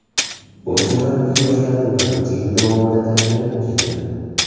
Bosh murabbiy yoshlarni bir necha yil davomida tarbiyalab keldi.